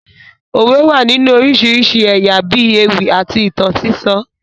Òwe wà nínú oríṣiríṣi ẹ̀yà bíi ewì àti ìtàn sísọ